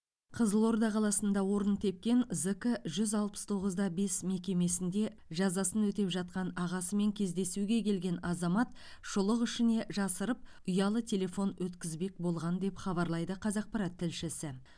қызылорда қаласында орын тепкен зк жүз алпыс тоғыз да бес мекемесінде жазасын өтеп жатқан ағасымен кездесуге келген азамат шұлық ішіне жасырып ұялы телефон өткізбек болған деп хабарлайды қазақпарат тілшісі